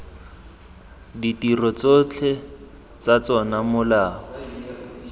ditiro tsotlhe tsa tsona molao